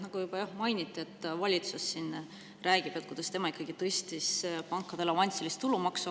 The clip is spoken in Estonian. Nagu juba mainiti, valitsus siin räägib, kuidas tema ikkagi tõstis pankade avansilist tulumaksu.